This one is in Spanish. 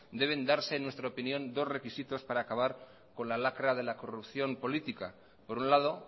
deben darse en nuestra opinión dos requisitos para acabar con la lacra de la corrupción política por un lado